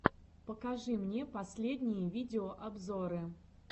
покажи мне последние видеообзоры